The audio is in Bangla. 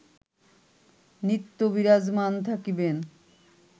নিত্য বিরাজমান থাকিবেন